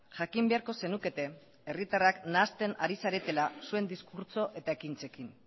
jakin beharko zenukete herritarrak nahasten ari zaretela zuen diskurtso eta ekintzekin